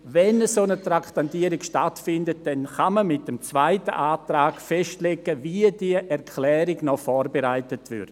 Wenn eine Traktandierung stattfindet, kann man mit dem zweiten Antrag festlegen, wie die Erklärung vorbereitet wird.